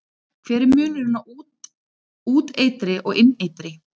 Hver er munurinn á úteitri og inneitri?